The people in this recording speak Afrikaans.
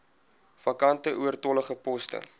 vakante oortollige poste